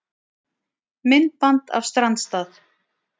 Myndband af strandstað